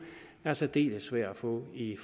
er særdeles svær at få i